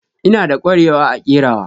Ina da ƙwarewa a kerawa.